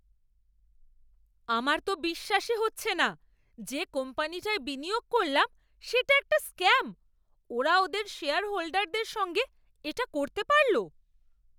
আমার তো বিশ্বাসই হচ্ছে না যে কোম্পানিটায় বিনিয়োগ করলাম সেটা একটা স্ক্যাম। ওরা ওদের শেয়ারহোল্ডারদের সঙ্গে এটা করতে পারল?